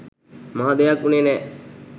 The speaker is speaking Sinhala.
මහ දෙයක් උනේ නෑ